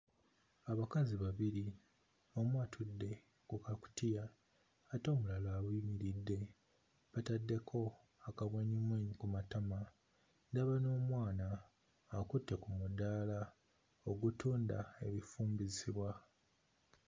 Abakazi babiri omu atudde ku kakutiya ate omulala ayimiridde ataddeko akamwenyumwenyu Ku matama. Ndaba n'omwana akutte ku mudaala ogutunda ebifumbisibwa.